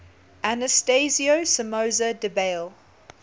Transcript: anastasio somoza debayle